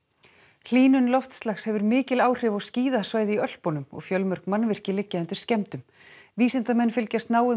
hlýnun loftslags hefur mikil áhrif á skíðasvæði í Ölpunum og fjölmörg mannvirki liggja undir skemmdum vísindamenn fylgjast náið með